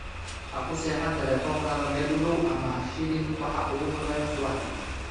Ha ku seexan taleefankaaga meel u dhow ama ha shidin waxa ugu horreeya subaxdii.